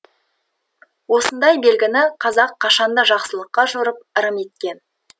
осындай белгіні қазақ қашанда жақсылыққа жорып ырым еткен